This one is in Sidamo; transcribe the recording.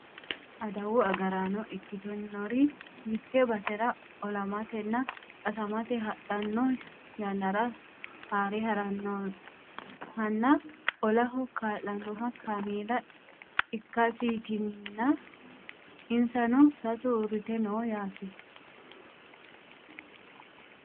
adawu agaraano ikkitinori mitte basera olamatenna qasamate hadhanno yannara haare harannohanna olaho kaa'lanno kameela ikkasiitinna insano sasu uurrite no yaate